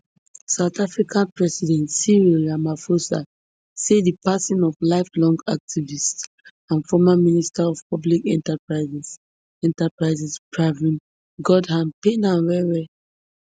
south africa president cyril ramaphosa say di passing of lifelong activist and former minister of public enterprises enterprises pravin gordhan pain am wellwell